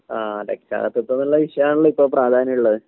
ആ രക്ഷാകർതൃത്വംന്നുള്ള വിഷയമാണല്ലോ ഇപ്പൊ പ്രാധാന്യം ഉള്ളത്